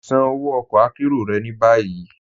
Ṣàn ọwọ ọ̀kọ àkéró rẹ̀ ni bayi.